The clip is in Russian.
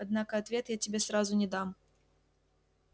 однако ответ я тебе сразу не дам